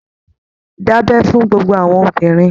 Da'bẹ fún gbogbo àwọn obìnrin!